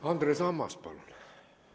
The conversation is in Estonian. Andres Ammas, palun!